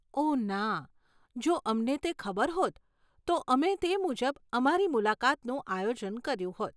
ઓહ ના, જો અમને તે ખબર હોત, તો અમે તે મુજબ અમારી મુલાકાતનું આયોજન કર્યું હોત.